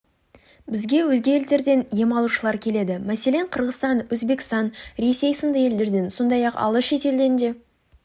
бізге өзге елдерден ем алушылар келеді мәселен қырғызстан өзбекстан ресей сынды елдерден сондай-ақ алыс шетелден де